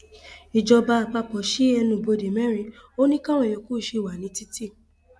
ìjọba àpapọ sí ẹnubodè mẹrin ò ní káwọn yòókù ṣì wà ní títì